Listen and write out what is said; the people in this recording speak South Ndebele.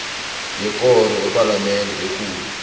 yekoro yepalamende ekulu